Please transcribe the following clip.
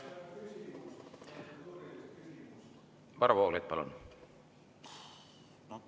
Varro Vooglaid, palun!